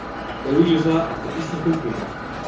Auglýsa eftir íslenskum kvikmyndum